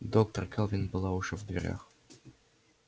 доктор кэлвин была уже в дверях